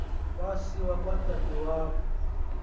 wasiwa kwadade wabo